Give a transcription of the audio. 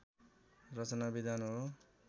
रचनाविधान हो